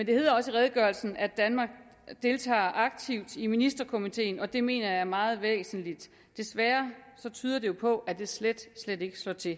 det hedder også i redegørelsen at danmark deltager aktivt i ministerkomiteen og det mener jeg er meget væsentligt desværre tyder det jo på at det slet slet ikke slår til